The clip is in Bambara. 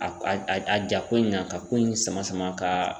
A a a ja ko in kan ka ko in sama sama ka